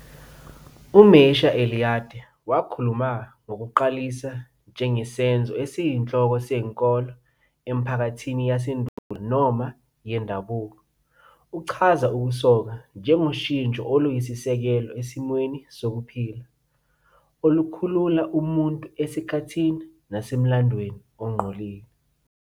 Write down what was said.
UMircea Eliade wakhuluma ngokuqalisa njengesenzo esiyinhloko senkolo emiphakathini yasendulo noma yendabuko. Uchaza ukusoka "njengoshintsho oluyisisekelo esimweni sokuphila", olukhulula umuntu esikhathini nasemlandweni ongcolile.